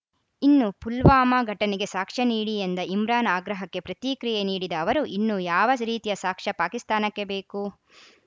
ಇನ್ನು ಪುಲ್ವಾಮಾ ಘಟನೆಗೆ ಸಾಕ್ಷ್ಯ ನೀಡಿ ಎಂದ ಇಮ್ರಾನ್‌ ಆಗ್ರಹಕ್ಕೆ ಪ್ರತಿಕ್ರಿಯೆ ನೀಡಿದ ಅವರು ಇನ್ನೂ ಯಾವ ರೀತಿಯ ಸಾಕ್ಷ್ಯ ಪಾಕಿಸ್ತಾನಕ್ಕೆ ಬೇಕು